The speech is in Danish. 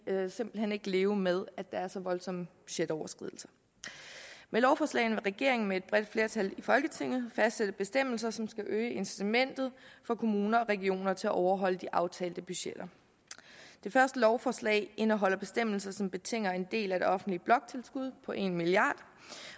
simpelt hen ikke leve med at der er så voldsomme budgetoverskridelser med lovforslagene vil regeringen med et bredt flertal i folketinget fastsætte bestemmelser som skal øge incitamentet for kommuner og regioner til at overholde de aftalte budgetter det første lovforslag indeholder bestemmelser som betinger en del af det offentlige bloktilskud på en milliard